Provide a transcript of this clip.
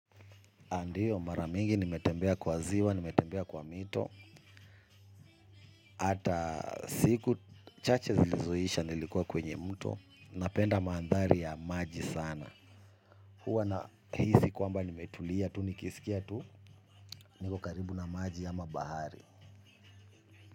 Ndiyo mara mingi nimetembea kwa ziwa, nimetembea kwa mito hata siku chache zilizoisha nilikuwa kwenye mto napenda mandhari ya maji sana huwa nahisi kwamba nimetulia tu, nikisikia tu niko karibu na maji ama bahari.